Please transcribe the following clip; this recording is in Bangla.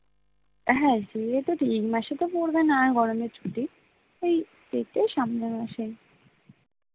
হ্যাঁ সে তো ঠিকই এই মাসে তো পরবে না গরমের ছুটি এই এইটাই সামনের মাসেই